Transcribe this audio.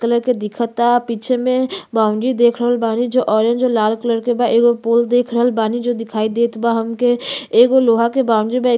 Colour के दिखता। पीछे में बाउंड्री देख रहल बानी जो ऑरेंज और लाल कलर के बा। एगो पोल देख रहल बानी जो दिखाई देत बा हमके। एगो लोहा के बाउंड्री बा। ए --